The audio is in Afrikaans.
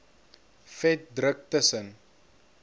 vet druk tussen